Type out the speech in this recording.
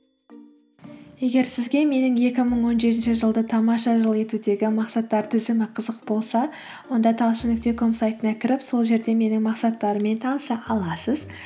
егер сізге менің екі мың он жетінші жылды тамаша жыл етудегі мақсаттар тізімі қызық болса онда талшын нүкте ком сайтына кіріп сол жерде менің мақсаттарыммен таныса аласыз